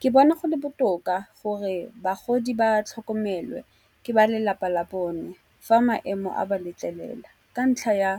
Ke bona go le botoka gore bagodi ba tlhokomelwe ke ba lelapa la bone fa maemo a ba letlelela. Ka ntlha ya